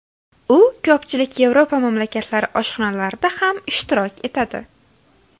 U ko‘pchilik Yevropa mamlakatlari oshxonalarida ham ishtirok etadi.